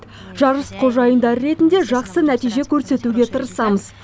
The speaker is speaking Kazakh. жарыс қожайындары ретінде жақсы нәтиже көрсетуге тырысамыз